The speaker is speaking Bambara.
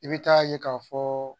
I bɛ taa ye ka fɔ